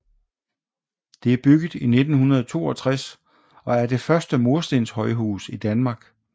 Det er bygget i 1962 og er det første murstens højhus i Danmark